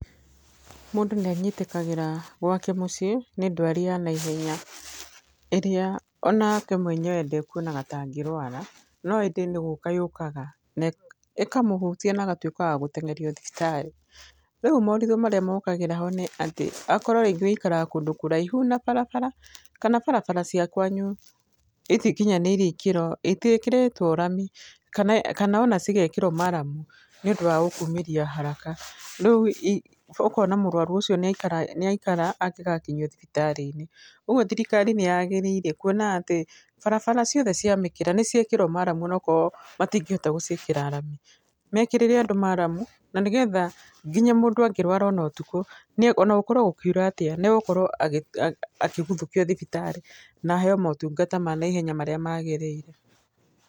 Mũndũ nĩ anyitĩkagĩra gwake mũciĩ nĩ ndwari ya na ihenya, ĩrĩa onake mwenyewe ndekuonaga ta angĩrũara, no ĩndĩ nĩ gũka yũkaga, na ĩ ĩkamũhutia na agatuĩka wa gũteng'erio thibitarĩ. Rĩu maũndũ maría mokagĩra ho nĩ atĩ, akorwo rĩngĩ wĩikaraga kũndũ kũraihu na barabara, kana barabara cia kũanyu itikinyanĩirie ikĩro, itiĩkĩrĩtwo rami, kana kana o na cigekĩrwo maramu nĩũndũ wa gũkumĩria haraka, rĩu ũkona mũrũaru ũcio nĩ aikara angĩgakinyio thibitarĩ-inĩ. Uguo thirikari nĩyagirĩire kuona atĩ, barabara ciothe cia mĩkĩra nĩciekĩrwo maramu ona okorwo matingĩhota gũciĩkĩra rami. Mekirĩre andũ maramu, na nĩgetha nginya mũndũ angĩrwara ona ũtukũ nĩ, onagũkorwo gũkiura atĩa nĩ agũkorwo agĩ agĩguthũkio na aheyo motungata ma naihenya marĩa magĩrĩire.